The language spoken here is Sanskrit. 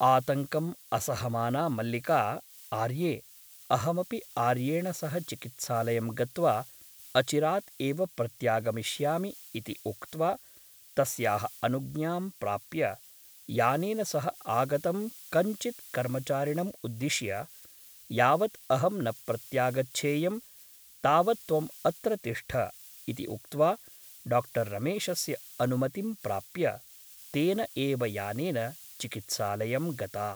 आतङ्क्रम् असहमाना मल्लिका आर्ये , अहमपि आर्येण सह चिकित्सालयं गत्वा अचिरात् एव प्रत्यागमिष्यामि इति उक्त्वा तस्याः अनुज्ञां प्राप्य , यानेन सह आगतं कञ्चित् कर्मचारिणम् उद्दिश्य ' यावत् अहं न प्रत्यागच्छेयं तावत् त्वम् अत्र तिष्ठ ' इति उक्त्वा डा रमेशस्य अनुमति प्राप्य तेन एव यानेन चिकित्सालयं गता ।